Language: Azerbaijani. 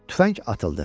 Tüfəng atıldı.